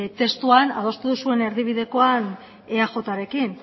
testuan adostu duzuen erdibidekoan eajrekin